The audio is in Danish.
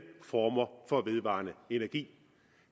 former for vedvarende energi